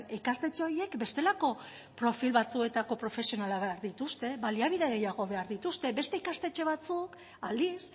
ikastetxe horiek bestelako profil batzuetako profesionalak behar dituzte baliabide gehiago behar dituzte beste ikastetxe batzuk aldiz